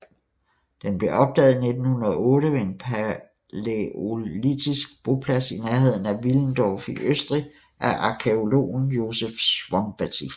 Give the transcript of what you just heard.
Den blev opdaget i 1908 ved en palæolitisk boplads i nærheden af Willendorf i Østrig af arkæologen Josef Szombathy